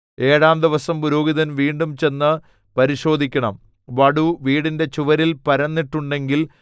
ഏഴാം ദിവസം പുരോഹിതൻ വീണ്ടും ചെന്നു പരിശോധിക്കണം വടു വീടിന്റെ ചുവരിൽ പരന്നിട്ടുണ്ടെങ്കിൽ